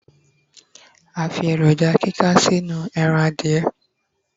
a fi eroja kika sí inú eran adìye